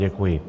Děkuji.